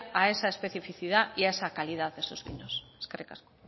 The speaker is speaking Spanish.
a esa especificidad y a esa calidad de esos vinos eskerrik asko